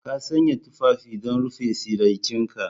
Ka sanya tufafi don rufe tsiraicinka.